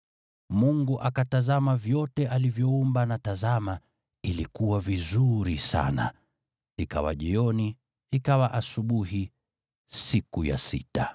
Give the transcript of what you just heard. Mungu akaona vyote alivyoumba, na tazama, ilikuwa vizuri sana. Ikawa jioni, ikawa asubuhi, siku ya sita.